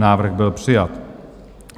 Návrh byl přijat.